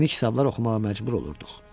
Yeni kitablar oxumağa məcbur olurduq.